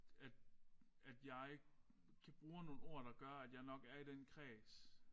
At at jeg kan bruge nogle ord der gør at jeg nok er i den kreds